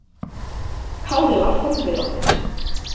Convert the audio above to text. Kári var forviða.